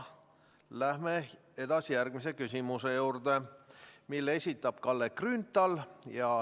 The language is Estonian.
Läheme edasi järgmise küsimuse juurde, mille esitab Kalle Grünthal.